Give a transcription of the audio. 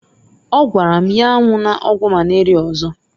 Ọ gwara m nnyaa m anwụna ọgwụ malaria ọzọ.